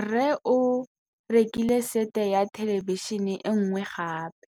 Rre o rekile sete ya thêlêbišênê e nngwe gape.